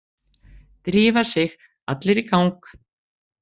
Drífa sig allir í gang!